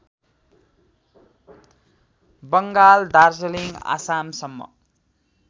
Bengal Darjeeling आसामसम्म